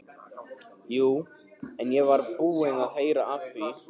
Jú, ég var búinn að heyra af því.